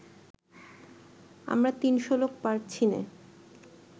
আমরা তিনশো লোক পারছিনে